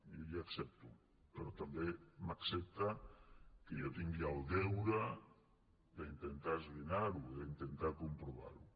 i li ho accepto però també m’accepta que jo tingui el deure d’intentar esbrinar ho d’intentar comprovar ho